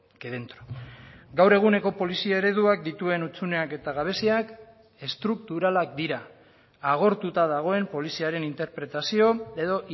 que dentro gaur eguneko polizia ereduak dituen hutsuneak eta gabeziak estrukturalak dira agortuta dagoen poliziaren interpretazio edo